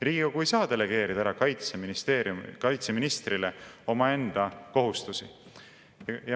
Riigikogu ei saa delegeerida kaitseministrile omaenda kohustusi.